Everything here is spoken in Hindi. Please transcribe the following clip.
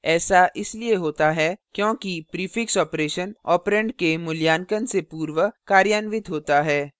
ऐसा इसलिए होता है क्योंकि prefix operation operand के मूल्यांकन से पूर्व कार्यान्वित होता है